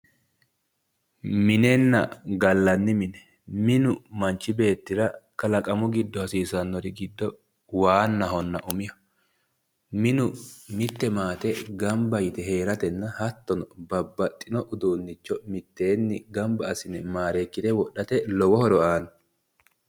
Mininna gallanni mine. Minu manchi beettira kalaqamu giddo hasiisannori giddo waannahonna umiho. Minu mitte maate gamba yite heeratenna hattono babbaxxino uduunnicho mitteenni gamba assine maareekkire wodhate lowo horo aanno.